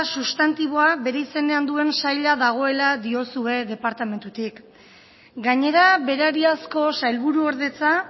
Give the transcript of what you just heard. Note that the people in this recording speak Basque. substantiboa bere izenean duen saila dagoela diozue departamentutik gainera berariazko sailburuordetza